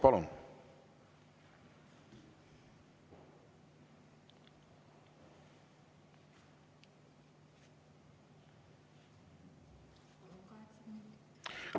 Palun!